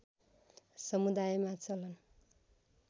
समुदायमा चलन